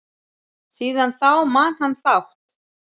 Síðan þá man hann fátt.